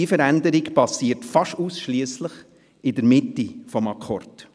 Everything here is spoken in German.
Diese Veränderung geschieht fast ausschliesslich in der Mitte des Akkords.